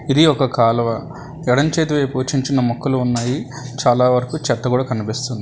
ఇది ఒక కాలువ ఎడమ చేతి వైపు చిన్న చిన్న మొక్కలు ఉన్నాయి చాలా వరకు చెత్త కూడా కనిపిస్తుంది.